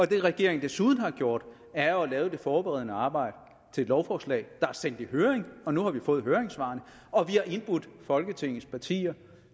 det regeringen desuden har gjort er jo at lave det forberedende arbejde til et lovforslag der er sendt i høring nu har vi fået høringssvarene og vi har indbudt folketingets partier